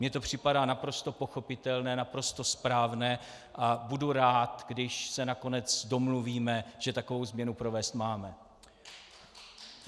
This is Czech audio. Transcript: Mně to připadá naprosto pochopitelné, naprosto správné a budu rád, když se nakonec domluvíme, že takovou změnu provést máme.